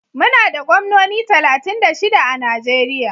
Muna da gwamnoni talatin da shida a Najeriya.